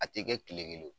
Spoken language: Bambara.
A tɛ kɛ kile kelen o